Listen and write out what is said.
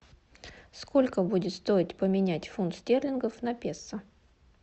сколько будет стоить поменять фунт стерлингов на песо